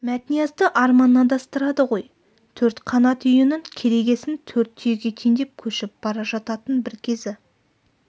мәтниязды арман адастырады ғой төрт қанат үйінің керегесін төрт түйеге теңдеп көшіп бара жататын бір кезі